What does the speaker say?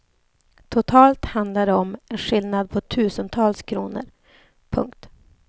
Totalt handlade det om en skillnad på tusentals kronor. punkt